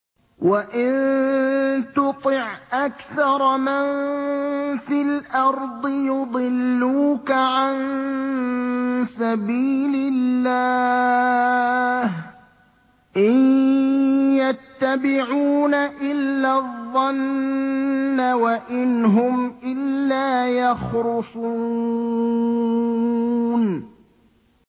وَإِن تُطِعْ أَكْثَرَ مَن فِي الْأَرْضِ يُضِلُّوكَ عَن سَبِيلِ اللَّهِ ۚ إِن يَتَّبِعُونَ إِلَّا الظَّنَّ وَإِنْ هُمْ إِلَّا يَخْرُصُونَ